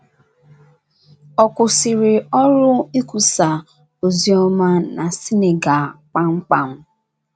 Ọ̀ kwụsịrị ọrụ ikwusa ozi ọma na Senegal kpamkpam?